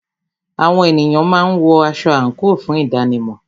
Àwọn ènìyàn máa ń wọ aṣọ àńkò fún ìdánimò